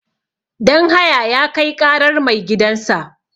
Danhaya ya Kai ƙarar maigidansa.